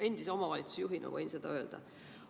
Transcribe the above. Endise omavalitsusjuhina võin seda öelda.